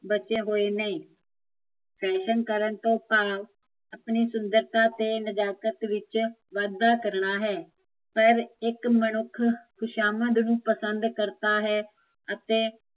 ਬਚਿਆ ਕੋਈ ਨਹੀਂ ਫੈਸ਼ਨ ਕਰਨ ਤੋਂ ਭਾਵ ਆਪਣੀ ਸੁੰਦਰਤਾ ਤੇ ਨਜ਼ਾਕਤ ਵਿੱਚ ਵਾਧਾ ਕਰਨਾ ਹੈ ਪਰ ਇੱਕ ਮਨੁੱਖ ਖੁਸ਼ਾਮਤ ਨੂੰ ਪਸੰਦ ਕਰਤਾ ਹੈ ਅਤੇ